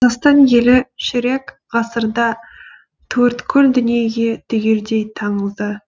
қазақстан елі ширек ғасырда төрткүл дүниеге түгелдей танылды